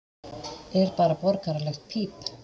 er bara borgaralegt píp.